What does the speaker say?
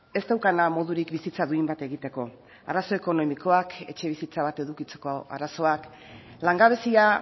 ez daukana modurik bizitza duin bat egiteko arazo ekonomikoak etxebizitza bat edukitzeko arazoak langabezia